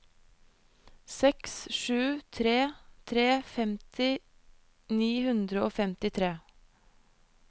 seks sju tre tre femti ni hundre og femtitre